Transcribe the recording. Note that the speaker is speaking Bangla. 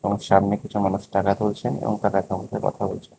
ওর সামনে কিছু মানুষ টাকা তুলছেন এবং টাকার সম্বন্ধে কথা বলছেন।